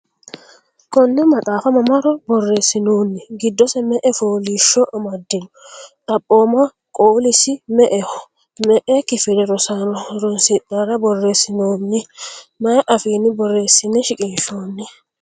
konne maxaafa mamaro borresinoonni? giddosi me"e fooliishsho amadino? xaphooma qoolisi me"eho? me"e kifile rosaano horoonsidhara borreessinoonni? mayi afiinni borreessine shiqinshoonni?